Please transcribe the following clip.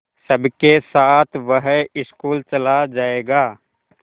सबके साथ वह स्कूल चला जायेगा